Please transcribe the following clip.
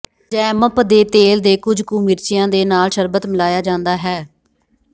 ਜੈਮਪ ਦੇ ਤੇਲ ਦੇ ਕੁਝ ਕੁ ਮਿਰਚਿਆਂ ਦੇ ਨਾਲ ਸ਼ਰਬਤ ਮਿਲਾਇਆ ਜਾਂਦਾ ਹੈ